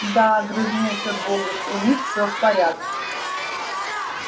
да огрызнулся богерт у них все в порядке